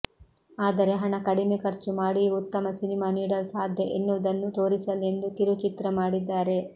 ಆದರೆ ಹಣ ಕಡಿಮೆ ಖರ್ಚು ಮಾಡಿಯೂ ಉತ್ತಮ ಸಿನಿಮಾ ನೀಡಲು ಸಾಧ್ಯ ಎನ್ನುವುದನ್ನು ತೋರಿಸಲೆಂದು ಕಿರುಚಿತ್ರ ಮಾಡಿದ್ದಾರೆ